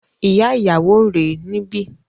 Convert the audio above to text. Ìyá ìyàwó rè é níbí